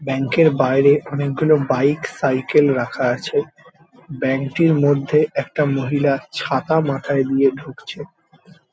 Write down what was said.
Bank -এর বাইরে অনেকগুলো বাইক সাইকেল রাখা আছে। ব্যাঙ্ক -এর মধ্যে একটা মহিলা ছাতা মাথায় দিয়ে ঢুকছে।